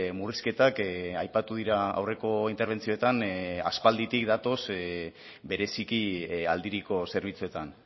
murrizketak aipatu dira aurreko interbentzioetan aspalditik datoz bereziki aldiriko zerbitzuetan